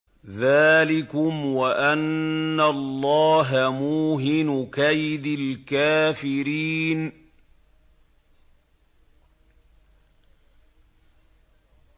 ذَٰلِكُمْ وَأَنَّ اللَّهَ مُوهِنُ كَيْدِ الْكَافِرِينَ